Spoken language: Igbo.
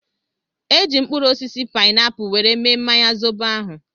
Eji m mkpụrụ osisi painapu were mee mmanya zobo ahụ